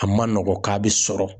A ma nɔgɔn k'a bɛ sɔrɔ..